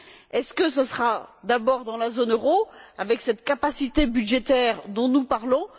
Est ce que ce sera d'abord dans la zone euro, avec cette capacité budgétaire dont nous parlons?